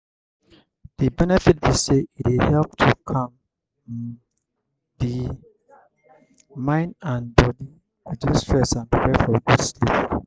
di benefit be say e dey help to calm um di mind and body reduce stress and prepare for good sleep.